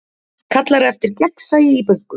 Kallar eftir gegnsæi í bönkum